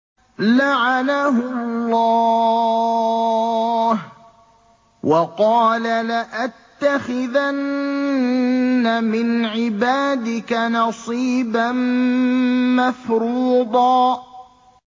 لَّعَنَهُ اللَّهُ ۘ وَقَالَ لَأَتَّخِذَنَّ مِنْ عِبَادِكَ نَصِيبًا مَّفْرُوضًا